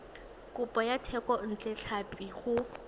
kopo ya thekontle tlhapi go